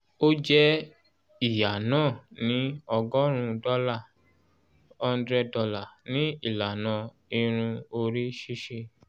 o jẹ ìyá náà ni ọgọ́rùn-ún dọ́là ($100) ní ìlànà irun orí ṣíṣe